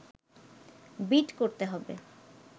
bit করতে হবে